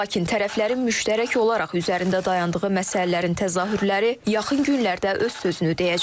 Lakin tərəflərin müştərək olaraq üzərində dayandığı məsələlərin təzahürləri yaxın günlərdə öz sözünü deyəcək.